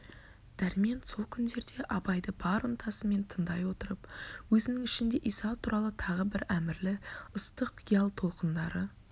дәрмен сол күндерде абайды бар ынтасымен тындай отырып өзінің ішінде иса туралы тағы бір әмірлі ыстық қиял толқындары